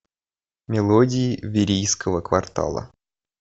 мелодии верийского квартала